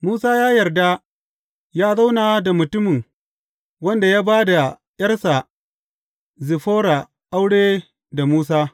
Musa ya yarda yă zauna da mutumin wanda ya ba da ’yarsa Ziffora aure da Musa.